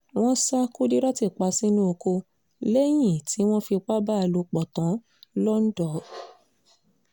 wọ́n ṣa kùdírát pa sínú ọkọ̀ lẹ́yìn tí wọ́n fipá bá a lò pọ̀ tán lọ́ńdọ̀